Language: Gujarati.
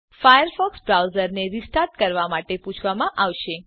ફાયરફોક્સ બ્રાઉઝરને રીસ્ટાર્ટ કરવા માટે પૂછવામાં આવશે